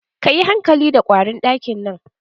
Ka yi hankali da ƙwarin ɗakin nan.